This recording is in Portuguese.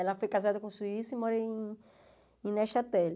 Ela foi casada com um suíço e mora em Nechateli.